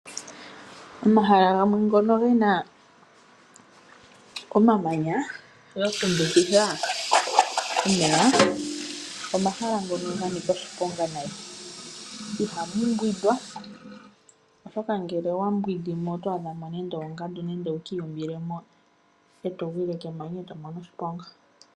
Omahala gamwe ngono gena omamanya ga kundukitha omeya, omahala ngono ga nika oshiponga nayi, ihamu mbwindwa oshoka ngele owambwindimo oto adhamo nande oongandu, nenge wu ki iyumbilemo e to gwile kemanya, e to mono oshiponga.